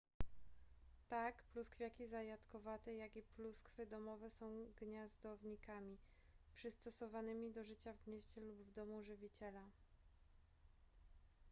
tak pluskwiaki zajadkowate jak i pluskwy domowe są gniazdownikami przystosowanymi do życia w gnieździe lub w domu żywiciela